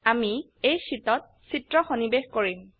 আমি এই শীটত চিত্ৰ সন্নিবেশ কৰিম